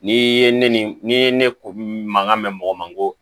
N'i ye ne ni n'i ye ne ko mankan mɛn mɔgɔ ma koo